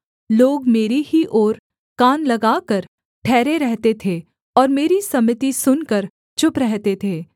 लोग मेरी ही ओर कान लगाकर ठहरे रहते थे और मेरी सम्मति सुनकर चुप रहते थे